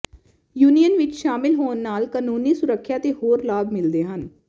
union ਵਿਚ ਸ਼ਾਮਲ ਹੋਣ ਨਾਲ ਕਾਨੂੰਨੀ ਸੁਰੱਖਿਆ ਅਤੇ ਹੋਰ ਲਾਭ ਮਿਲਦੇ ਹਨ